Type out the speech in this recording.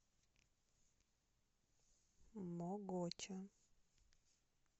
могоча